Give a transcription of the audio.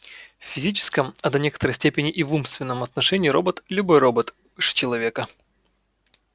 в физическом а до некоторой степени и в умственном отношении робот любой робот выше человека